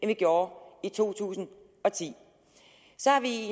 vi gjorde i to tusind og ti så har vi i